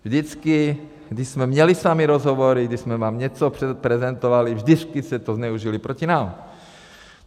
Vždycky když jsme měli s vámi rozhovory, když jsme vám něco prezentovali, vždycky jste to zneužili proti nám.